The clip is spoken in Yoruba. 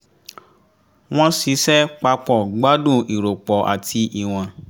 wọ́n ṣiṣẹ́ papọ̀ gbádùn ìròpọ̀ àti ìwọ̀n